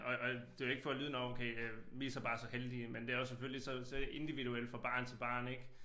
Og og det jo ikke for at lyde nåh okay øh vi så bare så heldige men det er jo selvfølgelig så så individuelt fra barn til barn ik